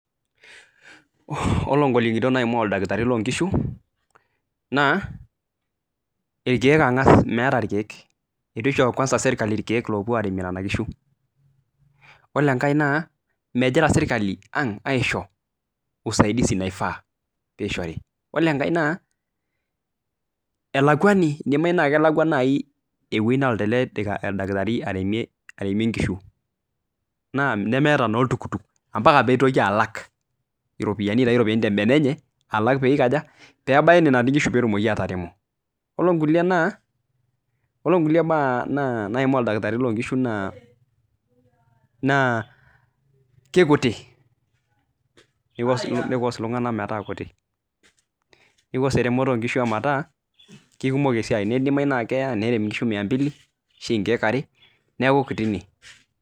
Oore igolikinot naimaa oldakitarii lonkishu naa, irkeek ang'as, meeta irkeek. Eitu isho kwanza serkali irkeek loopuo aremie nena kishu. Iyiolo enkae naa megira serakli aisho usaidizi naifaa pee ishori. Iyiolo enkae naa, elakwani, eidimau naa kelakwa naai ewueji neloito ele dakitari aremie inkishu nemeeta naa oltukutuk ompaka neitoki alak iropiyiani aitau iropiyiani tembene enye, alak pee eikaja? Pee ebaya eene netii inkishu peyie etumoki ataremo. Iyiolo inkulie baa naimaa oldakitari lonkishu naa kaikutik. Neicause eromoto onkishu metaa kaikumok esiai. Neidimau naa keya nerem inkishu mia mbili arashu inkeek aare niaku kutik